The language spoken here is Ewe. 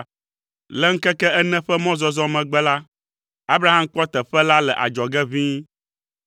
Le ŋkeke ene ƒe mɔzɔzɔ megbe la, Abraham kpɔ teƒe la le adzɔge ʋĩi.